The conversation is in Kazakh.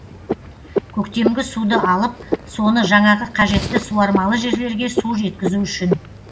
көктемгі суды алып соны жаңағы қажетті суармалы жерлерге су жеткізу үшін